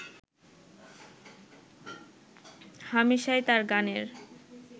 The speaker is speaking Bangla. হামেশাই তাঁর গানের